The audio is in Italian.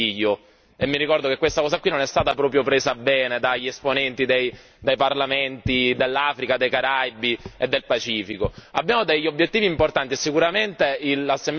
Addirittura non si è presentato nessun membro del Consiglio e mi ricordo che questa cosa non è stata proprio presa bene dagli esponenti dei parlamenti dell'Africa, dei Caraibi e del Pacifico.